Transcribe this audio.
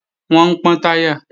Wọ́n ń pọ́n táyà